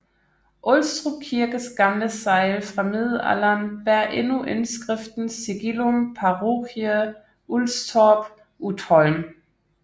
Ulstrup Kirkes gamle segl fra middelalderen bærer endnu indskriften Sigillum Parochie Ulstorp Utholm